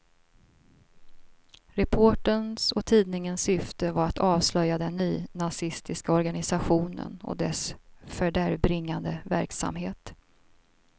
Reporterns och tidningens syfte var att avslöja den nynazistiska organisationen och dess fördärvbringande verksamhet.